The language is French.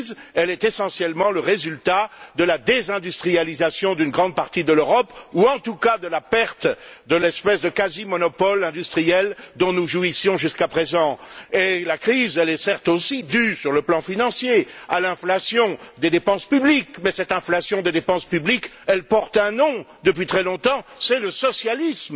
Elle est essentiellement le résultat de la désindustrialisation d'une grande partie de l'Europe ou, en tout cas, de la perte de l'espèce de quasi monopole industriel dont nous jouissions jusqu'à présent. La crise est, certes, aussi due sur le plan financier à l'inflation des dépenses publiques mais cette inflation des dépenses publiques porte un nom depuis très longtemps c'est le socialisme.